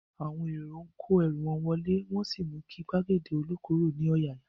Àwọn èrò ń kó ẹrú wọn wọlé, wọn sì mú kí gbàgede ilokuro ní ọ̀yàyà